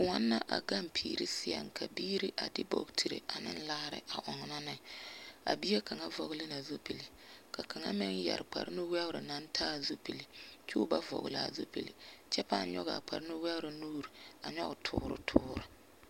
Kõɔ na a gaŋ piiri seɛŋ ka biiri a de bootiri ane laare a ɔnnɔ ne. A bie kaŋ vɔgele na zupili, ka kaŋa meŋ yɛre kparnuwɛgere naŋ taa zupili ky'o ba vɔgele l'a zupili, kyɛ pãã nyɔg’a kparnuwɛgere nuur a nyɔge toor toor.